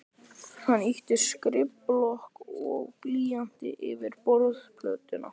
Hann ýtti skrifblokk og blýanti yfir borðplötuna.